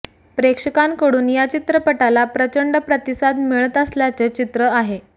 प्रेक्षकांकडून या चित्रपटाला प्रचंड प्रतिसाद मिळत असल्याचे चित्र आहे